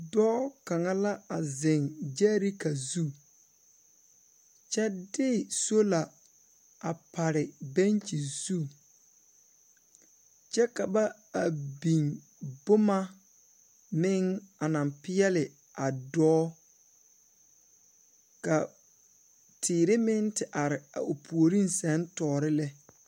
Dɔɔ kaŋa la a zeŋ gyɛɛreka zu kyɛ de soola a pare bɛnkyi zu kyɛ ka ba a biŋ bomma meŋ anaŋ peɛle a dɔɔ ka teere meŋ te are a o puoriŋ seŋ toore lɛ.